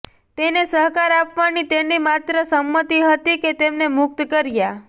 તેને સહકાર આપવાની તેની માત્ર સંમતિ હતી કે તેમને મુક્ત કર્યા